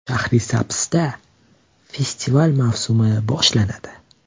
Shahrisabzda festivallar mavsumi boshlanadi.